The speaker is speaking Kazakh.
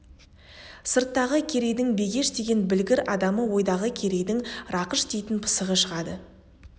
сырттағы керейдің бегеш деген білгір адамы ойдағы керейдің рақыш дейтін пысығы шығады